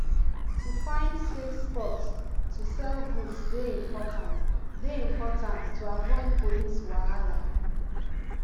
to find safe spots to sell goods dey important dey important to avoid police wahala